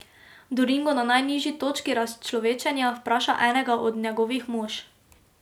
Doringo na najnižji točki razčlovečenja vpraša enega od njegovih mož.